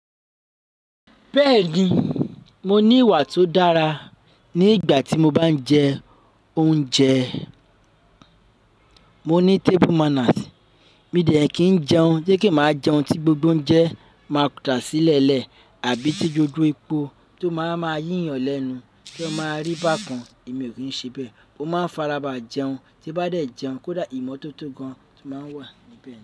Bẹ́ẹ̀ni, mo ní ìwà tó dára ní ìgbà tí mo bá ń jẹ oúnjẹ. Mo ní table manners. Mi ò dẹ̀ kín jẹun, jẹ́ kí máa jẹun tí gbogbo onjẹ máa da sílẹ̀lẹ̀ àbí tí gbogbo epo tó máa máa yíyàn lẹ́nu tí o máa rí bákan, èmi ò kí ń ṣe bẹ́ẹ̀. Ó máa ń fara bà jẹ́un tí bá dẹ̀ jẹun kó dà ìmọ́tótó gan máa wà níbẹ̀